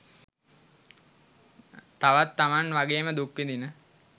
තවත් තමන් වගේම දුක්විඳින